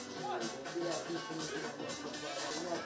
Adətən, adətən, adətən nəyi bilməlisən?